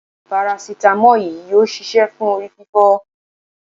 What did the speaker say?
parasitamọ́ọ̀ yìí yóò ṣiṣẹ́ fún orí fífọ́.